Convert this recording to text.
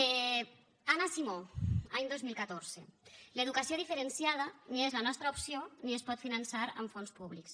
anna simó any dos mil catorze l’educació diferenciada ni és la nostra opció ni es pot finançar amb fons públics